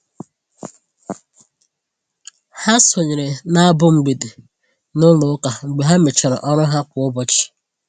Ha sonyeere na abụ mgbede n'ụlọ ụka mgbe ha mechara ọrụ ha kwa ụbọchị.